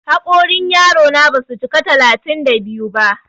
Haƙorin yaro na ba su cika talatin da biyu ba.